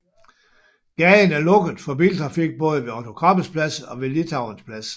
Gaden er lukket for biltrafik både ved Otto Krabbes Plads og ved Litauens Plads